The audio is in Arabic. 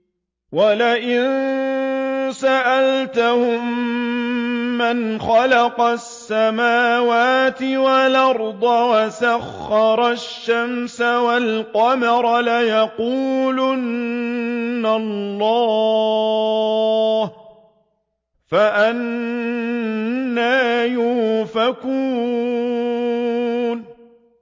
وَلَئِن سَأَلْتَهُم مَّنْ خَلَقَ السَّمَاوَاتِ وَالْأَرْضَ وَسَخَّرَ الشَّمْسَ وَالْقَمَرَ لَيَقُولُنَّ اللَّهُ ۖ فَأَنَّىٰ يُؤْفَكُونَ